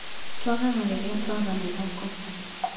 Tũagaga rĩrĩa tũaga mwĩhoko.